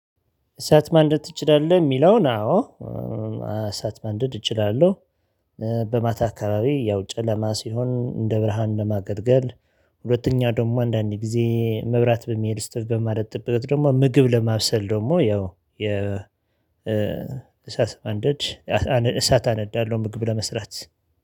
እሳት ማንደድ ትችላለህ የሚለውን? አዎ። እሳት ማንደድ እችላለሁ። በማታ አካባቢ ያው ጨለማ ሲሆን እንደ ብርሃን ለማገልገል። ሁለተኛ ደግሞ አንዳንዴ ጊዜ መብራት በሚሄድ ስትል በማለት ጥበቃ ደግሞ ምግብ ለማብሰል ደግሞ ያው የ እሳት ማንደድ እጅ እሳት አነዳለሁ። ምግብ ለመስራት